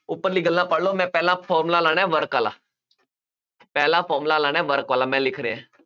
ਉੱਪਰਲੀਆਂ ਗੱਲਾਂ ਪੜ੍ਹ ਲਉ, ਮੈਂ ਪਹਿਲਾਂ formula ਲਾਉਣਾ, work ਆਲਾ ਪਹਿਲਾ formula ਲਾਉਣਾ work ਵਾਲਾ ਮੈਂ ਲਿਖ ਰਿਹਾਂ।